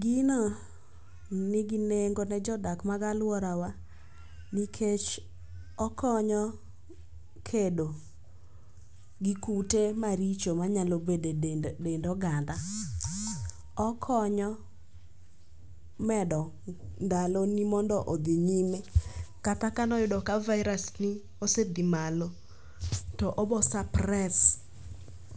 Gino nigi nengo ne jodak mag aluorawa nikech okonyo kedo gi kute maricho manyalo bedo edend dend oganda. Okonyo medo ndaloni mondo odhi nyime kata kane oyudo ka virus ni osedhi malo to obo supress